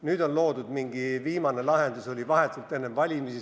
Nüüd, vahetult enne valimisi loodi mingi uus lahendus.